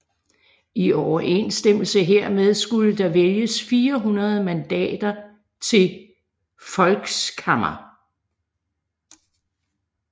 I overensstemmelse hermed skulle der vælges 400 mandater til Volkskammer